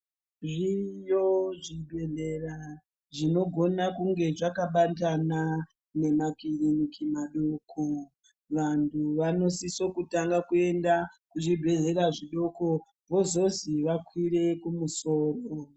Zviriyo zvibhedhlera zvinogona kunge zvakabatana nemakiriniki madoko vanhu vanosisa kutanga kuenda kuzvibhedhlera zvidoko vozozi vakwire kumusoro.